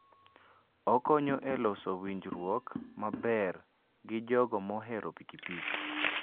Okonyo e loso winjruok maber gi jogo mohero pikipiki.